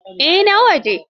Ya na waje.